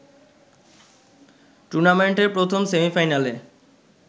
টুর্নামেন্টের প্রথম সেমিফাইনালে